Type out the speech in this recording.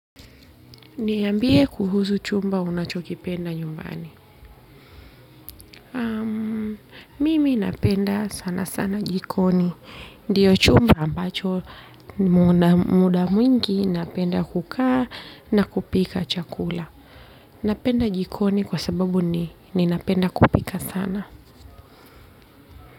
Niambie kuhusu chumba unachokipenda nyumbani. Mimi napenda sana sana jikoni. Ndio chumba ambacho mda mwingi napenda kukaa na kupika chakula. Napenda jikoni kwa sababu ni napenda kupika sana.